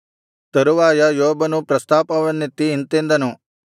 ತರುವಾಯ ಯೋಬನು ಪ್ರಸ್ತಾಪವನ್ನೆತ್ತಿ ಇಂತೆಂದನು